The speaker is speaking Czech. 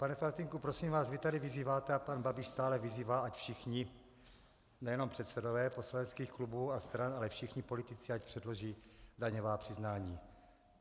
Pane Faltýnku, prosím vás, vy tady vyzýváte a pan Babiš stále vyzývá, ať všichni, nejenom předsedové poslaneckých klubů a stran, ale všichni politici ať předloží daňová přiznání.